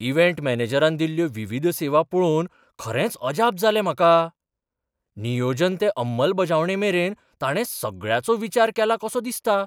Event मॅनेजरान दिल्ल्यो विविध सेवा पळोवन खरेंच अजाप जालें म्हाका. नियोजन ते अंमलबजावणेंमेरेन, ताणें सगळ्याचो विचार केला कसो दिसता!